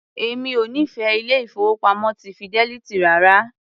Èmi ò nífẹ̀ẹ́ ilé-ìfowópamọ́ ti Fidelity rárá.